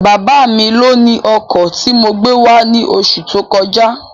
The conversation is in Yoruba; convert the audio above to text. Bábá mi lóni ọkọ̀ tí mo gbé wá ní oṣù tó kọjá